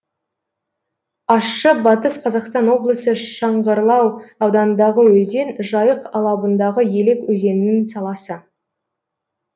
ащы батыс қазақстан облысы шыңғырлау ауданындағы өзен жайық алабындағы елек өзенінің саласы